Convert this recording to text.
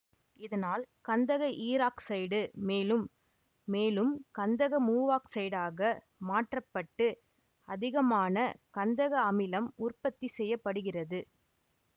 இதனால் கந்தக ஈராக்சைடு மேலும் மேலும் கந்தக மூவாக்சைடாக மாற்ற பட்டு அதிகமான கந்தக அமிலம் உற்பத்தி செய்ய படுகிறது